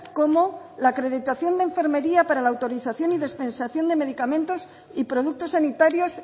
como la acreditación de enfermería para la autorización y dispensación de medicamentos y productos sanitarios